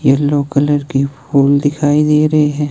Yellow colour की फूल दिखाई दे रही है।